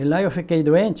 E lá eu fiquei doente.